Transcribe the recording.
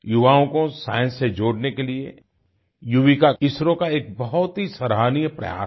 युवाओं को साइंस से जोड़ने के लिए युविका इसरो का एक बहुत ही सराहनीय प्रयास है